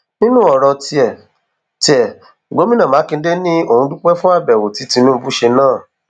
nínú ọrọ tiẹ tiẹ gomina makinde ni òun dúpẹ fún àbẹwò tí tinubu ṣe náà